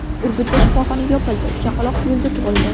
Urgutda shifoxona yopildi, chaqaloq yo‘lda tug‘ildi .